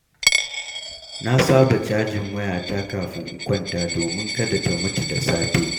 Na saba cajin wayata kafin in kwanta domin kada ta mutu da safe.